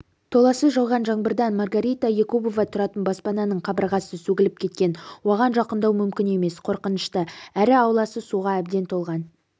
толассыз жауған жаңбырдан маргарита якубова тұратын баспананың қабырғасы сөгіліп кеткен оған жақындау мүмкін емес қорқынышты әрі ауласы суға әбден толған